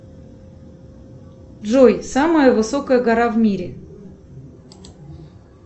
джой самая высокая гора в мире